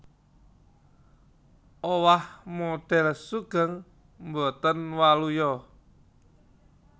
Owah modhél sugeng botén waluya